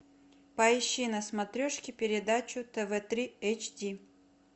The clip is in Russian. поищи на смотрешке передачу тв три эйч ди